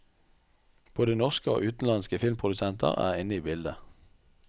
Både norske og utenlandske filmprodusenter er inne i bildet.